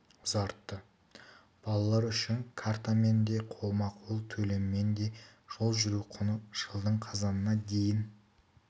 ұзартты балалар үшін картамен де қолма қол төлеммен де жол жүру құны жылдың қазанына дейін